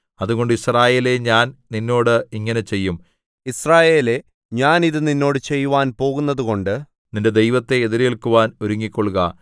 അതുകൊണ്ട് യിസ്രായേലേ ഞാൻ നിന്നോട് ഇങ്ങനെ ചെയ്യും യിസ്രായേലേ ഞാൻ ഇത് നിന്നോട് ചെയ്യുവാൻ പോകുന്നതുകൊണ്ട് നിന്റെ ദൈവത്തെ എതിരേല്ക്കുവാൻ ഒരുങ്ങിക്കൊള്ളുക